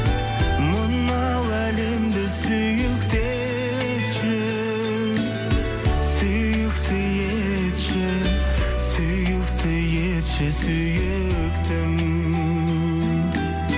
мынау әлемді сүйікті етші сүйікті етші сүйікті етші сүйіктім